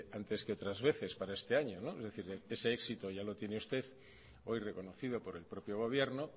antes que otras veces para este año es decir ese éxito ya lo tiene usted hoy reconocido por el propio gobierno